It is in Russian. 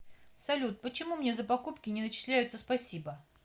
салют почему мне за покупки не начисляются спасибо